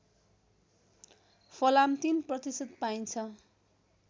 फलाम ०३ प्रतिशत पाइन्छ